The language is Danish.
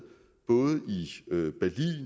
både